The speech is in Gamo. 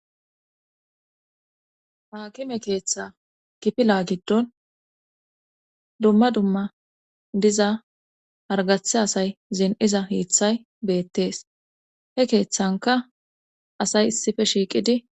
haakime keeththa gipila giddon dumma dumma diza hargathe asay zin7iza hiiththay beettees he keeththanka asay issife shiiqidi